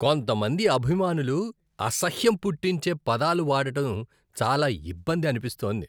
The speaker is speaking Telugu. కొంతమంది అభిమానులు అసహ్యం పుట్టించే పదాలు వాడటం చాలా ఇబ్బంది అనిపిస్తోంది.